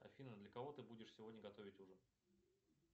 афина для кого ты будешь сегодня готовить ужин